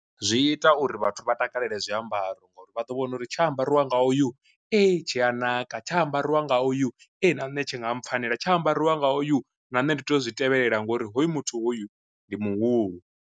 Zwi ita uri vhathu vha takalele zwiambaro ngori vha ḓo wana uri tsha ambariwa nga oyu ee tshia naka, tsha ambariwa nga oyu e na nṋe tshi nga mpfhanela, tsha ambariwa nga oyu na nne ndi tea u zwi tevhelela nga uri hoyu muthu hoyu ndi muhulu.